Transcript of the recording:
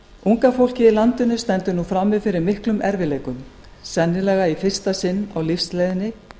unga fólkið í landinu stendur nú frammi fyrir miklum erfiðleikum sennilega í fyrsta sinn á lífsleiðinni